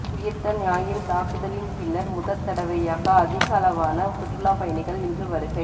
உயிர்த்த ஞாயிறு தாக்குதலின் பின்னர் முதற்தடவையாக அதிகளவான சுற்றுலாப் பயணிகள் இன்று வருகை